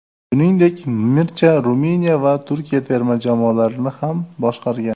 Shuningdek, Mircha Ruminiya va Turkiya terma jamoalarini ham boshqargan.